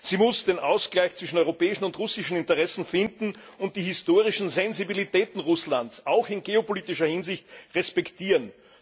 Sie muss den Ausgleich zwischen europäischen und russischen Interessen finden und die historischen Sensibilitäten Russlands auch in geopolitischer Hinsicht respektieren.